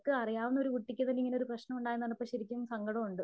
അറിയാവുന്ന കുട്ടിക്ക് തന്നെ ഇങ്ങനെ പ്രശ്നം ഉണ്ടായി എന്ന് പറഞ്ഞപ്പോൾ ശരിക്കും സങ്കടമുണ്ട്.